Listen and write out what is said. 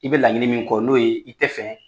I bɛ laɲinin min kɔ n'o ye i tɛ fɛ